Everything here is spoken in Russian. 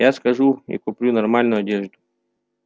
я схожу и куплю нормальную одежду